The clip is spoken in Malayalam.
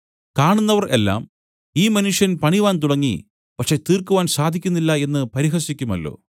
കാണുന്നവർ എല്ലാം ഈ മനുഷ്യൻ പണിവാൻ തുടങ്ങി പക്ഷേ തീർക്കുവാൻ സാധിക്കുന്നില്ല എന്നു പരിഹസിക്കുമല്ലോ